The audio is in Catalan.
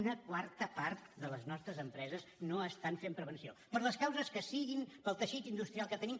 una quarta part de les nostres empreses no fan prevenció per les causes que siguin pel teixit industrial que tenim